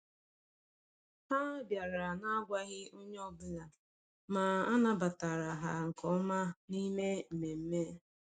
Ha bịara na-agwaghị onye ọbụla, ma a nabatara ha nke ọma n’ime mmemme.